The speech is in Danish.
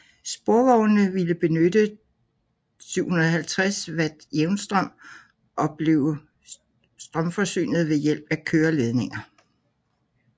Sporvognene ville benytte 750V jævnstrøm og blive strømforsynet ved hjælp af køreledninger